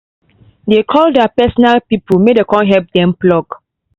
dey call their personal people may den con help dem pluck